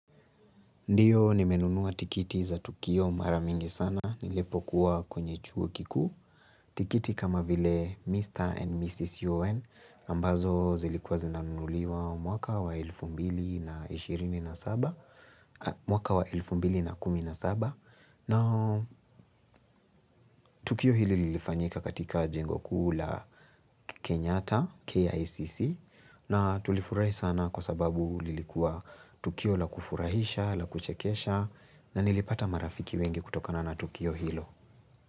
Ndio, nimenunua tikiti za Tukio mara mingi sana, nilipokuwa kwenye chuo kikuu, tikiti kama vile Mr. And Mrs. UoN, ambazo zilikuwa zinanunuliwa mwaka wa elfu mbili na ishirini na saba, mwaka wa elfu mbili na kumi na saba Tukio hili lilifanyika katika jengo kuu la Kenyata, KICC, na tulifurahi sana kwa sababu lilikuwa Tukio la kufurahisha, la kuchekesha, na nilipata marafiki wengi kutokana na Tukio Hilo.